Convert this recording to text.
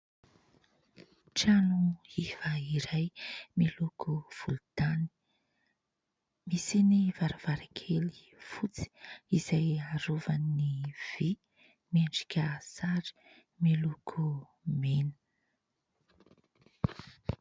Trano iva iray miloko volontany misy ny varavarankely fotsy izay arovan'ny vy miendrika sary miloko mena.